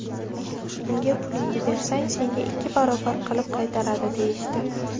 Unga pulingni bersang, senga ikki barobar qilib qaytaradi, deyishdi.